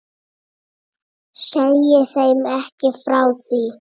Segi þeim ekki frá því.